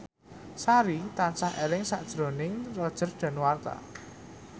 Sari tansah eling sakjroning Roger Danuarta